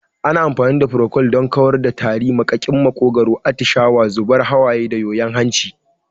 Ana amfani da furokol don kawar da tari, maƙaƙin maƙogwaro, atishawa, zubar hawaye da yoyon hanci.